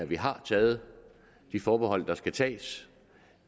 vi har taget de forbehold der skal tages